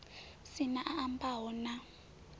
si na a ambaho na